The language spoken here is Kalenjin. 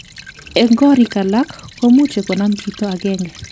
En korik alak komuche konam chito agenge.